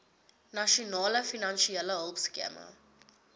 nasionale finansiële hulpskema